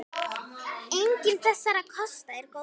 Enginn þessara kosta er góður.